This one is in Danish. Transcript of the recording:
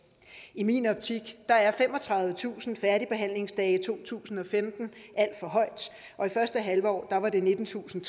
i min optik er er femogtredivetusind færdigbehandlingsdage i to tusind og femten alt for højt og i første halvår var det nittentusinde